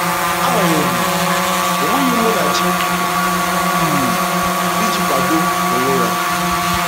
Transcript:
Agbanyeghị, o nweghị Munachi um iji kwado onwe ya.